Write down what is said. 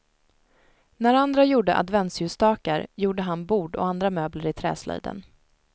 När andra gjorde adventsljusstakar gjorde han bord och andra möbler i träslöjden.